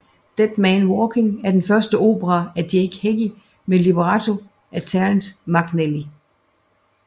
Dead Man Walking er den første opera af Jake Heggie med libretto af Terrence McNally